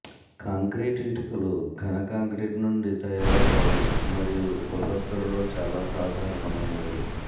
concrete ఇటుకలు ఘన concrete నుండి తయారవుతాయి మరియు గృహస్థులలో చాలా సాధారణమైనవి